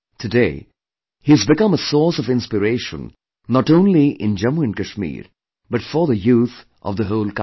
Today, he has become a source of inspiration not only in Jammu & Kashmir but for the youth of the whole country